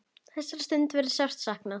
Þessara stunda verður sárt saknað.